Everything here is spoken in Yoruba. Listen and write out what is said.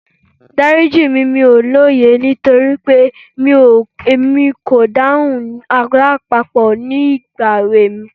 Dárí jì mí, mi ò lóye nítorí pé mi kò dáhùn Àlọ́ àpamọ̀ nígbà èwe mi.